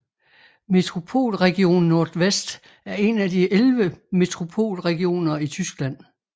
Metropolregion Nordwest er en af de elleve Metropolregioner i Tyskland